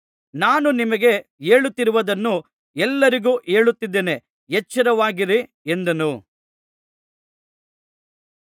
ನಾನು ನಿಮಗೆ ಹೇಳುತ್ತಿರುವುದನ್ನು ಎಲ್ಲರಿಗೂ ಹೇಳುತ್ತಿದ್ದೇನೆ ಎಚ್ಚರವಾಗಿರಿ ಎಂದನು